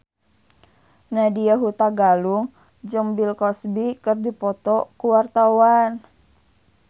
Nadya Hutagalung jeung Bill Cosby keur dipoto ku wartawan